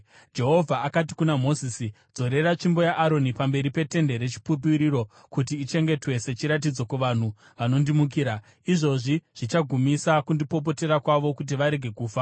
Jehovha akati kuna Mozisi, “Dzorera tsvimbo yaAroni pamberi peTende reChipupuriro, kuti ichengetwe sechiratidzo kuvanhu vanondimukira. Izvozvi zvichagumisa kundipopotera kwavo, kuti varege kufa.”